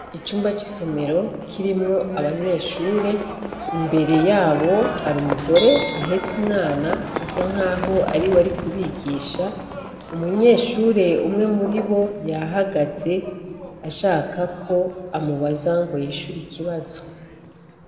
Icumba c'isomero kirimwo abanyeshure, imbere yabo hari umugore ahetse umwana asa nk'aho ari we ari kubigisha. Umunyeshure umwe muri bo yahagaze ashaka ko amubaza ngo yishure ikibazo.